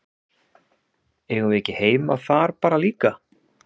Eigum við ekki heima þar bara líka?